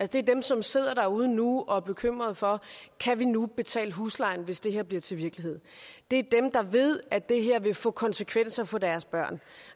det er dem som sidder derude nu og er bekymrede for kan vi nu betale huslejen hvis det her bliver til virkelighed det er dem der ved at det her vil få konsekvenser for deres børn